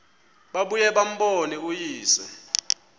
babuye bambone uyise